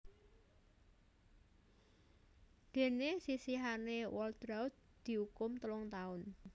Déné sisihane Waltraudt diukum telung taun